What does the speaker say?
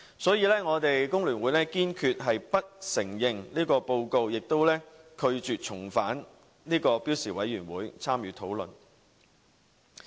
所以，我們工聯會堅決不承認這份報告，也拒絕重返標準工時委員會參與討論。